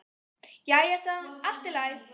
Jæja sagði hún, allt í lagi.